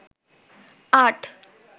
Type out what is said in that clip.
আট